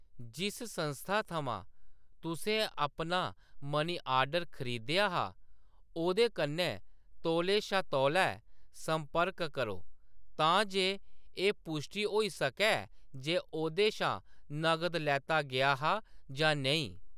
जिस संस्था थमां तुसें अपना मनी ऑर्डर खरीदेआ हा, ओह्‌‌‌दे कन्नै तौले शा तौलै संपर्क करो तां जे एह्‌‌ पुश्टी होई सकै जे ओह्‌‌‌दे शा नगद लैता गेआ हा जां नेईं।